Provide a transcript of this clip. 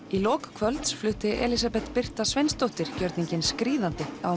í lok kvölds flutti Elísabet Birta Sveinsdóttir gjörninginn skríðandi á